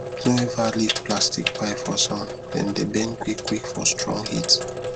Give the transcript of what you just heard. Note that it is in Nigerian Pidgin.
no ever leave plastic pipe for sun dem dey bend quick quick for strong heat